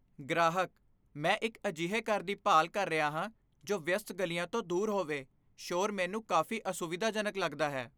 ਗ੍ਰਾਹਕ "ਮੈਂ ਇੱਕ ਅਜਿਹੇ ਘਰ ਦੀ ਭਾਲ ਕਰ ਰਿਹਾ ਹਾਂ ਜੋ ਵਿਅਸਤ ਗਲੀਆਂ ਤੋਂ ਦੂਰ ਹੋਵੇ ਸ਼ੋਰ ਮੈਨੂੰ ਕਾਫ਼ੀ ਅਸੁਵਿਧਾਜਨਕ ਲੱਗਦਾ ਹੈ"